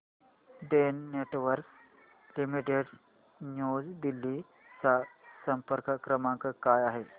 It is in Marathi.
Den Networks Limited New Delhi चा संपर्क क्रमांक काय आहे